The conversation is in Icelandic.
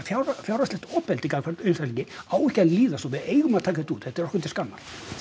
fjárhagslegt ofbeldi gagnvart einstaklingi á ekki að líðast og við eigum að taka þetta út þetta er okkur til skammar